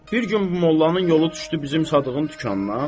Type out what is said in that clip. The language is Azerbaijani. Bir gün bu mollanın yolu düşdü bizim Sadığın dükanına.